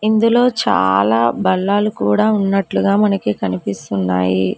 ఇందులో చాలా బల్లలు కూడా ఉన్నట్లుగా మనకి కనిపిస్తున్నాయి.